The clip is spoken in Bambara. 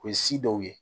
O ye si dɔw ye